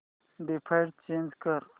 default change कर